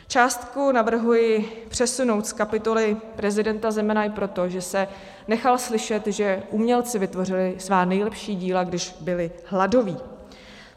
Částku navrhuji přesunout z kapitoly prezidenta Zemana i proto, že se nechal slyšet, že umělci vytvořili svá nejlepší díla, když byli hladoví.